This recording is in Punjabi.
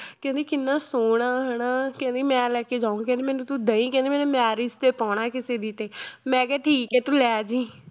ਕਹਿੰਦੀ ਕਿੰਨਾ ਸੋਹਣਾ ਹਨਾ ਕਹਿੰਦੀ ਮੈਂ ਲੈ ਕੇ ਜਾਊਂ ਕਹਿੰਦੀ ਮੈਨੂੰ ਤੂੰ ਦੇਈਂ ਕਹਿੰਦੀ ਮੈਨੇ marriage ਤੇ ਪਾਉਣਾ ਹੈ ਕਿਸੇ ਦੀ ਤੇ ਮੈਂ ਕਿਹਾ ਠੀਕ ਹੈ ਤੂੰ ਲੈ ਜਾਈ